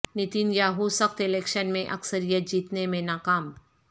Nitin Yahoo سخت election میں اکثریت جیتنے میں ناکام